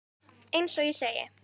Eins og ég segi.